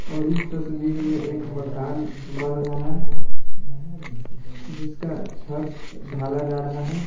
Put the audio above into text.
और इस तस्वीर में एक मकान बन रहा है जिसका छत ढाला जा रहा है।